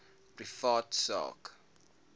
privaat sak